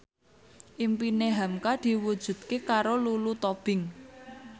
impine hamka diwujudke karo Lulu Tobing